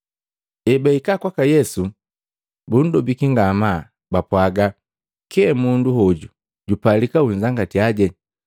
Ebahika kwaka Yesu bundobiki ngamaa, bapwaga, “Kye! Mundu hoju jupalika unzangatiya,